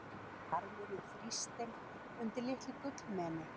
Barmurinn þrýstinn undir litlu gullmeni.